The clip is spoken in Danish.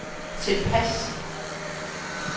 tilpas